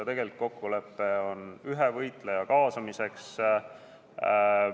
Tegelikult on kokkulepe ühe võitleja kaasamiseks.